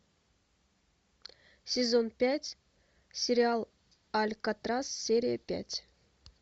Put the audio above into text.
сезон пять сериал алькатрас серия пять